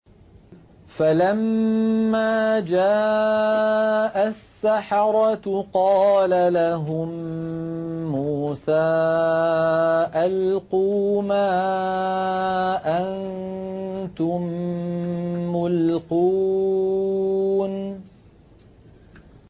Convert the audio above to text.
فَلَمَّا جَاءَ السَّحَرَةُ قَالَ لَهُم مُّوسَىٰ أَلْقُوا مَا أَنتُم مُّلْقُونَ